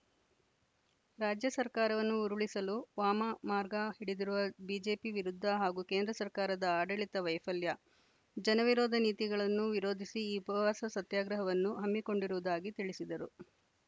ರಾಜ್ಯ ಸರ್ಕಾರವನ್ನು ಉರುಳಿಸಲು ವಾಮಮಾರ್ಗ ಹಿಡಿದಿರುವ ಬಿಜೆಪಿ ವಿರುದ್ಧ ಹಾಗೂ ಕೇಂದ್ರ ಸರ್ಕಾರದ ಆಡಳಿತ ವೈಫಲ್ಯ ಜನವಿರೋಧ ನೀತಿಗಳನ್ನು ವಿರೋಧಿಸಿ ಈ ಉಪವಾಸ ಸತ್ಯಾಗ್ರಹವನ್ನು ಹಮ್ಮಿಕೊಂಡಿರುವುದಾಗಿ ತಿಳಿಸಿದರು